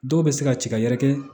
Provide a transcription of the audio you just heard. Dɔw bɛ se ka ci ka yɛrɛkɛ